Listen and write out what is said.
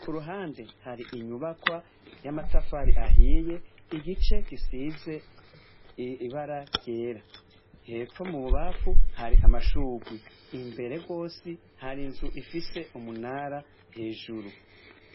k'uruhande har'inyubakwa y'amatafari ahiye igice gisize ibara ryera, hepfo mububamfu hari amashurwe, imbere gose har'inzu ifise umunara hejuru.